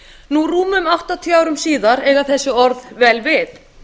nú rúmum áttatíu árum síðar eiga þessi orð vel við